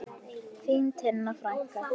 Þín Tinna frænka.